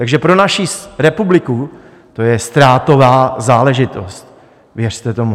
Takže pro naši republiku to je ztrátová záležitost, věřte tomu.